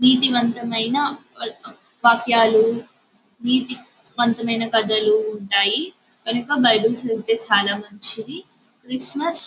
నీతివంతమైన వాక్యలు నీతి వంతమైన కథలు ఉంటాయి కనుక బైబిల్ చదివితే చాల మంచివి క్రిస్మస్ --